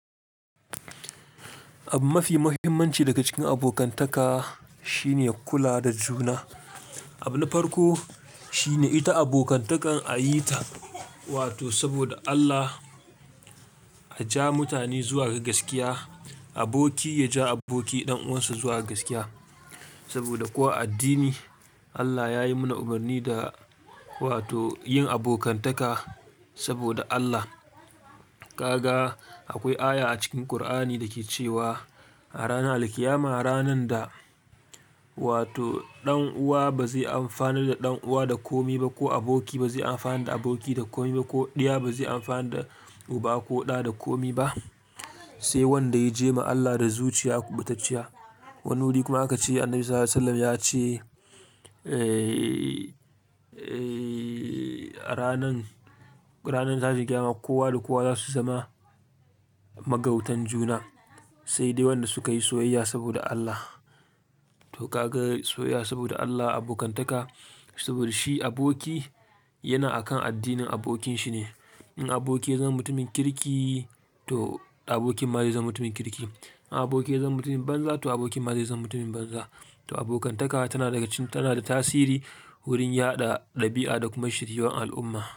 Ab mafi muhimmanci daga cikin abokantaka shine kula da juna. Abu na farko shine ita abokantaka a yi ta, wato saboda Allah a ja mutane zuwa ga gaskiya. Aboki ya ja aboki ɗan uwansa zuwa gaskiya. Saboda ko a addini, Allah yayi mana umarni da, wato yin abokantaka saboda Allah. Gaga akwai aya a cikin Kur'ani dake cewa a ranar Alqiyama, ranar da, wato ɗan uwa bazai amfanar da ɗan uwa da komi ba, ko aboki bazai amfanar da aboki da komi ba, ko ɗiya bazai amfanar da uba ko ɗa da komi ba. Sai wanda ya je ma Allah da zuciya kubutacciya. Wani wuri kuma haka ce, Annabi SAW ya ce, eh, eh, a ranan, ranar tashin qiyama kowa da kowa za su zama magautar juna. Sai dai wanda suka yi soyayya saboda Allah. To ka ga soyayya saboda Allah, abokantaka, saboda shi aboki yana akan addinin abokin shi ne. In aboki ya zama mutumin kirki, to abokin ma zai zama mutumin kirki. In aboki ya zama mutumin banza, to abokin ma zai zama mutumin banza. To abokantaka tana daga cikin, tana da tasiri wurin yaɗa ɗabi'a da kuma shiriyun al'umma.